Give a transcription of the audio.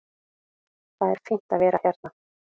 Það er fínt að vera hérna.